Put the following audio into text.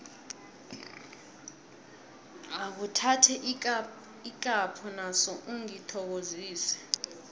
akhuthathe ikapho naso ungithokozise